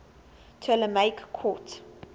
ptolemaic court